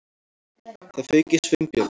Það fauk í Sveinbjörn.